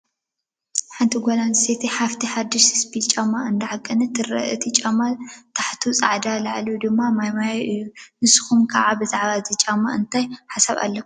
ሓንቲ ጓል ኣነስተይቲ ሓፍቲ ሓዱሽ ስፒል ጫማ እንዳዓቀነት ትረአ፡፡ እቲ ጫማ ታሕቱ ፀሊም፣ ላዕሉ ድማ ማይማዮ እዩ፡፡ ንስኹም ከ ብዛዕባ እዚ ጫማ እዚ እንታይ ሓሳብ ኣለኩም?